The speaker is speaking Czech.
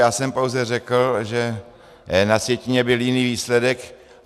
Já jsem pouze řekl, že na sjetině byl jiný výsledek.